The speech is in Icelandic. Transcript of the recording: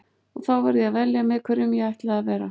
Og þá varð ég að velja með hverjum ég ætlaði að vera.